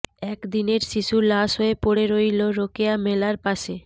এক দিনের শিশু লাশ হয়ে পড়ে রইল রোকেয়া মেলার পাশে